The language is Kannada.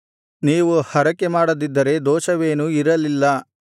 ನೀವು ಹರಕೆಮಾಡದಿದ್ದರೆ ದೋಷವೇನೂ ಇರಲಿಲ್ಲ